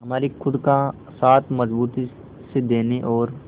हमारे खुद का साथ मजबूती से देने और